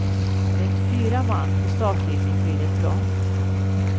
Med fyra man på startlinjen blir det trångt.